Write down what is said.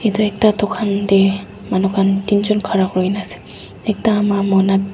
edu ekta dukan taemanu khan teenjun khara kurina ase ekta mamona--